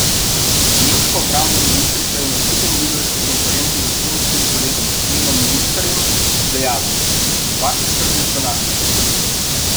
Nemška obrambna ministrica je na skupni novinarski konferenci z estonskim kolegom Svenom Mikserjem dejala: "Vaše skrbi so naše skrbi".